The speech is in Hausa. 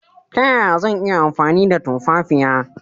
Ta yaya zan iya amfani da tumfafiya?